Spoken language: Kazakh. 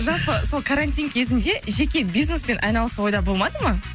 жалпы сол карантин кезінде жеке бизнеспен айналысу ойда болмады ма